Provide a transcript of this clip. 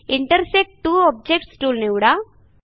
intersect two objects tool निवडा